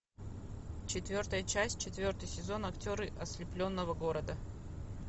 четвертая часть четвертый сезон актеры ослепленного города